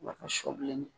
sɔ bilen